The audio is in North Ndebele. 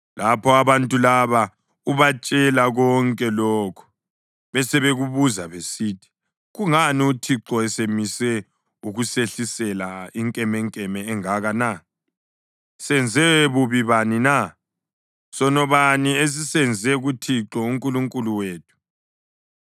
Lapho abantu laba ubatshela konke lokhu besebekubuza besithi, ‘Kungani uThixo esemise ukusehlisela inkemenkeme engaka na? Senze bubi bani na? Sono bani esisenze kuThixo uNkulunkulu wethu?’